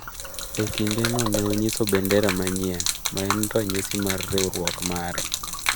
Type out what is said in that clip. E kindeno ne onyiso bendera manyien, ma ne en ranyisi mar riwruok mare.